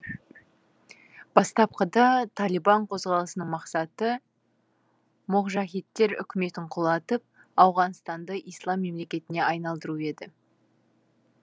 бастапқыда талибан қозғалысының мақсаты моғжахидтер үкіметін құлатып ауғанстанды ислам мемлекетіне айналдыру еді